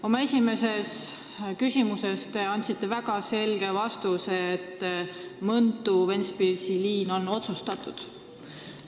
Oma esimeses vastuses te ütlesite väga selgelt, et Mõntu–Ventspilsi liin on otsustatud.